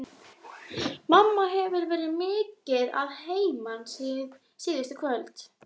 Mamma hefur verið mikið að heiman síðustu kvöld.